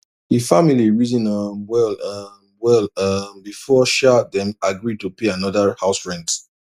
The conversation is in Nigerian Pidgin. d family reason um well um well um before sha dem agree to pay another house rent